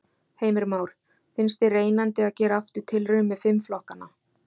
Heimir Már: Finnst þér reynandi að gera aftur tilraun með fimm flokkana?